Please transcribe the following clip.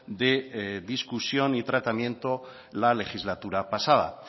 de discusión y tratamiento la legislatura pasada